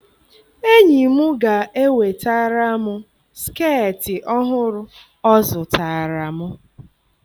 Enyi m ga-ewetara m skeetị ọhụrụ ọ zụtara m.